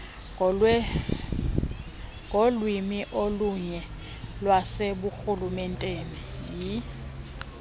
ngolwimi olunye lwaseburhulumenteni